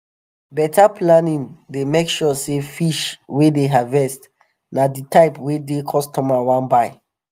beta planning dey make sure say fish wey dem harvest na di type wey di customer wan buy.